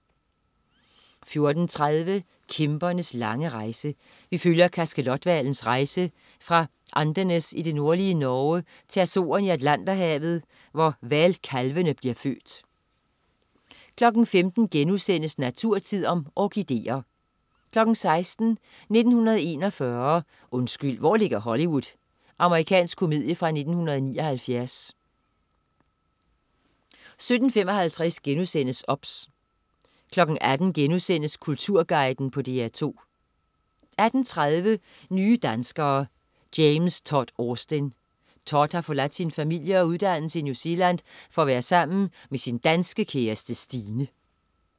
14.30 Kæmpernes lange rejse. Vi følger kaskelothvalens rejse fra Andenes i det nordlige Norge til Azorerne i Atlanterhavet, hvor hvalkalvene bliver født 15.00 Naturtid. Orkideer* 16.00 1941. Undskyld, hvor ligger Hollywood? Amerikansk komedie fra 1979 17.55 OBS* 18.00 Kulturguiden på DR2* 18.30 Nye danskere: James Todd Austin. Todd har forladt sin familie og uddannelse i New Zealand for at være sammen med sin danske kæreste Stine